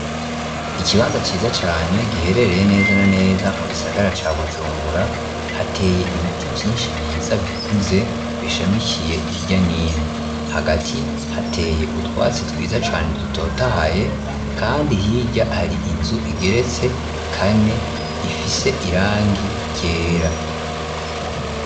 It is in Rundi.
Ikibanza ciza cane giherereye neza na neza mu gisagara ca bujumbura hateye ibiti vyinshi vyiza bikuze bishamishikiye irya n'ino hagati hateye utwatsi twiza cane dutotahaye kandi hirya hari inzu igeretse kane ifise irangi ryera.